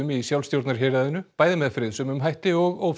í bæði með friðsömum hætti og